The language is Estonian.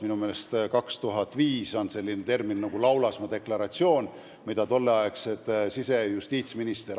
Minu meelest pärineb 2005. aastast selline dokument nagu "Laulasmaa deklaratsioon", mille kirjutasid tolleaegsed sise- ja justiitsminister.